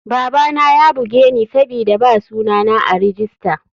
Babana yabugeni sabida ba suna na a rijista.